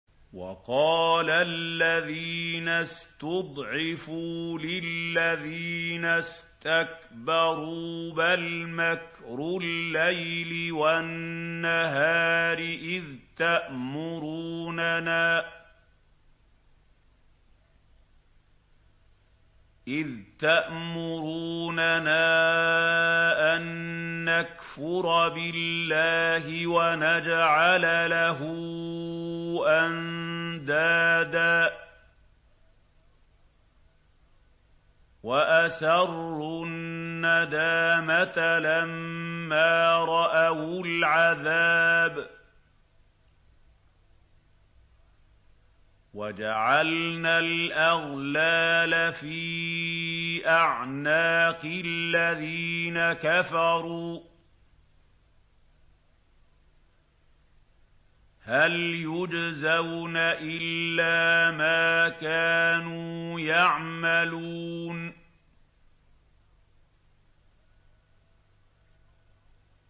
وَقَالَ الَّذِينَ اسْتُضْعِفُوا لِلَّذِينَ اسْتَكْبَرُوا بَلْ مَكْرُ اللَّيْلِ وَالنَّهَارِ إِذْ تَأْمُرُونَنَا أَن نَّكْفُرَ بِاللَّهِ وَنَجْعَلَ لَهُ أَندَادًا ۚ وَأَسَرُّوا النَّدَامَةَ لَمَّا رَأَوُا الْعَذَابَ وَجَعَلْنَا الْأَغْلَالَ فِي أَعْنَاقِ الَّذِينَ كَفَرُوا ۚ هَلْ يُجْزَوْنَ إِلَّا مَا كَانُوا يَعْمَلُونَ